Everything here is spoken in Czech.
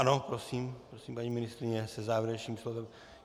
Ano, prosím, paní ministryně se závěrečným slovem.